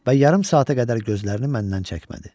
Və yarım saata qədər gözlərini məndən çəkmədi.